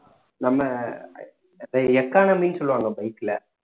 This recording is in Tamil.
நம்ம economy ன்னு சொல்லுவாங்க bike ல